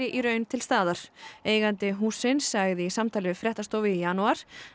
í raun til staðar eigandi hússins sagði í samtali við fréttastofu í janúar